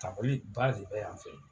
ba de bɛ yan fɛ.